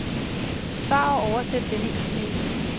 Besvar og oversæt denne e-mail.